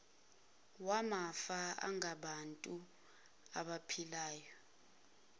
wamafa angabantu abaphilayo